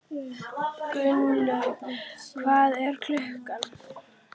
Gunnlaugur, hvað er klukkan?